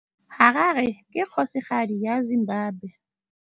Harare ke kgosigadi ya Zimbabwe.